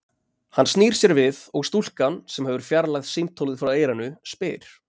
Hann snýr sér við, og stúlkan, sem hefur fjarlægt símtólið frá eyranu, spyr